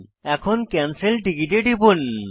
এখন cancel ticket এ টিপুন